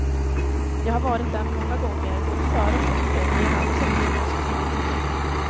Jag har varit där många gånger både före och efter, men jag har aldrig sett muren så tydligt som nu.